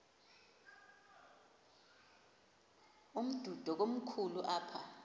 umdudo komkhulu apha